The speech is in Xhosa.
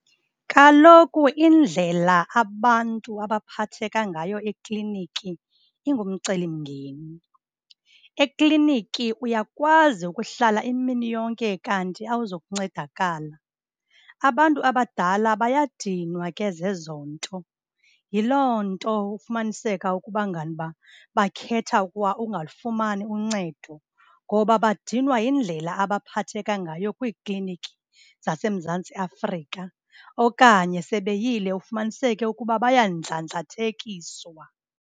Kaloku indlela abantu abaphatheka ngayo ekliniki ingumcelimngeni. Ekliniki uyakwazi ukuhlala imini yonke kanti awuzukuncedakala. Abantu abadala bayadinwa ke zezo nto. Yiloo nto ufumaniseka ukuba nganiba bakhetha kwa ukungalufumani uncedo ngoba badinwa yindlela abaphetheka ngayo kwiikliniki zaseMzantsi Afrika. Okanye sebe yile ufumaniseke ukuba bayandlandlathekiswa.